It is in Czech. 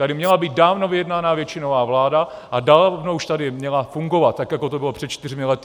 Tady měla být dávno vyjednaná většinová vláda a dávno už tady měla fungovat, tak jako to bylo před čtyřmi lety.